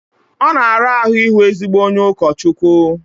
Ọ na-ara ahụ ịhụ ezigbo onye ụkọchukwu